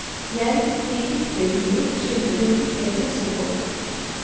Hjem i dikterhulen slipper hun ikke pressefolk.